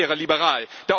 Das wäre liberal.